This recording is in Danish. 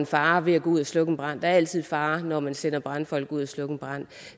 fare ved at gå ud og slukke en brand der altid fare når man sender brandfolk ud og slukke en brand